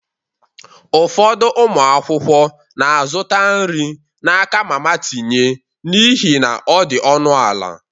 Ụfọdụ ụmụ akwụkwọ na-azụta nri n'aka mama tinye n'ihi na ọ dị ọnụ ala.